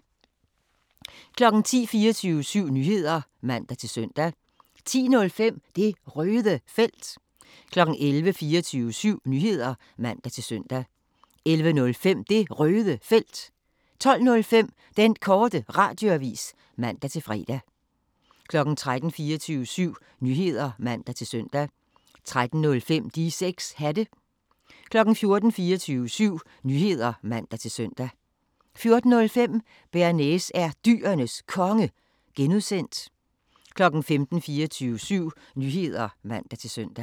10:00: 24syv Nyheder (man-søn) 10:05: Det Røde Felt 11:00: 24syv Nyheder (man-søn) 11:05: Det Røde Felt 12:05: Den Korte Radioavis (man-fre) 13:00: 24syv Nyheder (man-søn) 13:05: De 6 Hatte 14:00: 24syv Nyheder (man-søn) 14:05: Bearnaise er Dyrenes Konge (G) 15:00: 24syv Nyheder (man-søn)